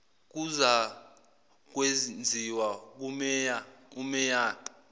kuzakwenziwa kumeya umeya